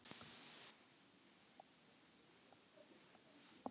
þá var mikið hlegið.